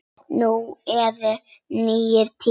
Nú eru nýir tímar.